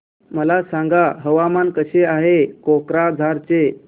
मला सांगा हवामान कसे आहे कोक्राझार चे